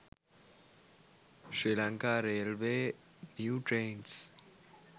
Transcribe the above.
sri lanka railway new trains